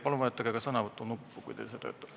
Palun vajutage ka sõnavõtunuppu, kui teil see töötab.